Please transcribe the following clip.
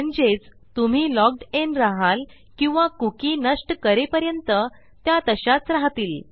म्हणजेच तुम्ही logged in रहाल किंवा कुकी नष्ट करेपर्यंत त्या तशाच राहतील